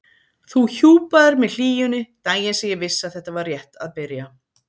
Þú hjúpaðir mig hlýjunni, daginn sem ég vissi að þetta var rétt að byrja.